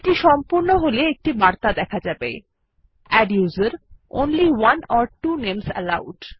এটি সম্পূর্ণ হল একটি বার্তা দেখা যাবে adduser160 only one or two names allowed